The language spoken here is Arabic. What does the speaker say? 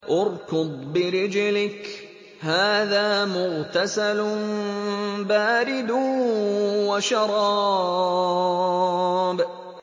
ارْكُضْ بِرِجْلِكَ ۖ هَٰذَا مُغْتَسَلٌ بَارِدٌ وَشَرَابٌ